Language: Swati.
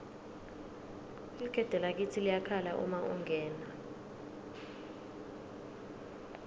ligede lakitsi liyakhala uma ungena